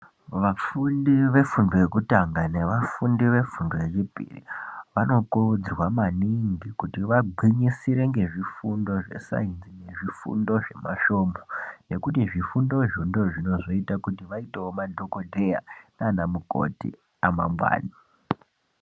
Vafundi vefundo yekutanga vefundo yechipiri vanokurudzirwa maningi kuti vagwinyisire ngezvifundo zvesayinzi zvifundo zvemasvomo nekuti zvifundo izvo ndozvinozouta kuti vaitewo madhokoteya nanamukoti amangwani.